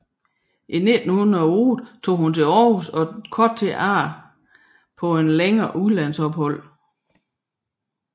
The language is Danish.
I 1908 tog hun til Århus og kort tid derefter på et længere udlandsophold